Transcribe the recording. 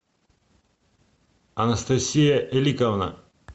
анастасия эликовна